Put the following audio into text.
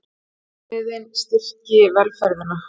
Viðmiðin styrki velferðina